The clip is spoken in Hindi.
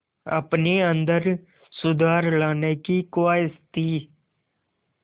अपने अंदर सुधार लाने की ख़्वाहिश थी